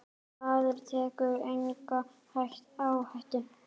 Maður tekur enga áhættu!